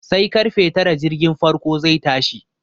Sai karfe tara jirgin farko zai tashi.